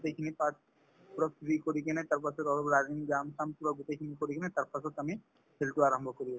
গোটেইখিনি parts পূৰা free কৰি কিনে তাৰপাছত অলপ running যাম পূৰা গোটেইখিনি কৰি কিনে তাৰপাছত আমি হেৰিতো আৰম্ভ কৰি